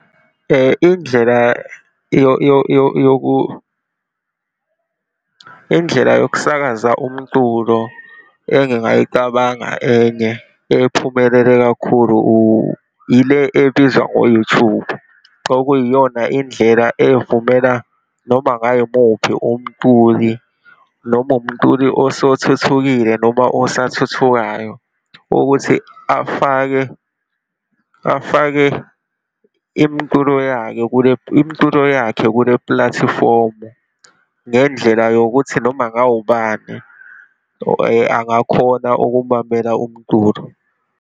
Indlela indlela yokusakaza umculo engingayicabanga enye ephumelela kakhulu ile ebizwa ngo-YouTube, okuyiyona indlela evumela noma kungayimuphi umculi, noma umculi osethukekile, noma osathuthukayo ukuthi afake afake imculo yakhe kule, imculo yakhe kule pulatifomu. Ngendlela yokuthi noma ngawubani angakhona ukumamela umculo.